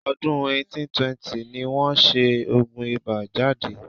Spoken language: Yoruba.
Ọdún 1820 ni wọ́n ṣẹ oògùn ibà jáde..